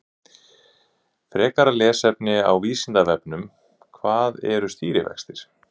Frekara lesefni á Vísindavefnum: Hvað eru stýrivextir?